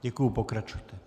Děkuji, pokračujte.